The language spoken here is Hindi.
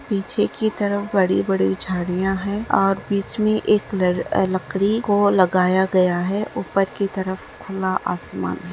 पीछे की तरफ बड़ी-बड़ी झाड़ियां है और बीच में एक ल लड़की को लगाया गया है ऊपर की तरफ खुला आसमान हैं ।